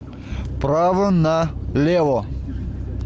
право налево